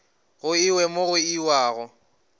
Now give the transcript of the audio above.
go iwe mo go iwago